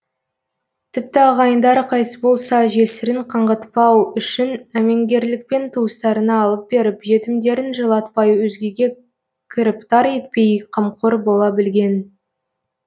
тіпті ағайындары қайтыс болса жесірін қаңғытпау үшін әмеңгерлікпен туыстарына алып беріп жетімдерін жылатпай өзгеге кіріптар етпей қамқор бола білген